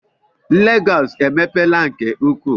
Lagos emepeela nke ukwuu